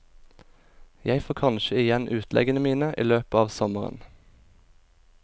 Jeg får kanskje igjen utleggene mine i løpet av sommeren.